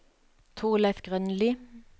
Thorleif Grønli